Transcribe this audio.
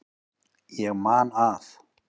Ég man að